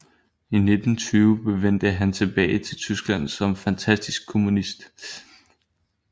I 1920 vendte han tilbage til Tyskland som fanatisk kommunist